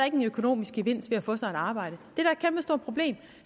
en økonomisk gevinst ved at få sig et arbejde